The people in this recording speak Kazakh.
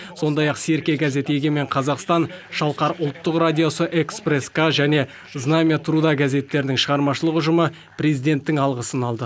сондай ақ серке газет егемен қазақстан шалқар үлттық радиосы экспресс к және знамя труда газеттерінің шығармашылық ұжымы президенттің алғысын алды